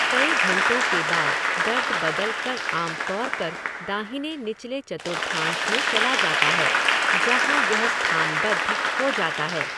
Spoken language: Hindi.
कई घंटों के बाद दर्द बदल कर आम तौर पर दाहिने निचले चतुर्थांश में चला जाता है, जहाँ यह स्थानबद्ध हो जाता है।